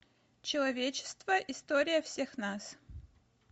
человечество история всех нас